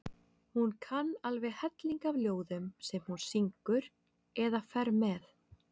Hún kann alveg helling af ljóðum sem hún syngur eða fer með.